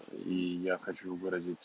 и я хочу выразить